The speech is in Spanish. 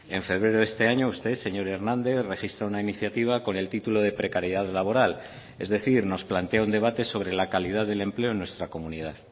en febrero de este año usted señor hernández registra una iniciativa con el título de precariedad laboral es decir nos plantea un debate sobre la calidad del empleo en nuestra comunidad